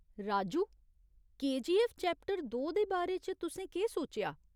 Raju, KGF chapter दो दे बारे च तुसें केह् सोचेआ ?